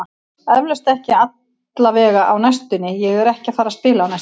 Eflaust, ekki allavega á næstunni, ég er ekki að fara að spila á næstunni.